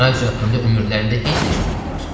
Radio haqqında ömürlərində heç nə eşitməyiblər.